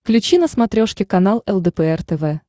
включи на смотрешке канал лдпр тв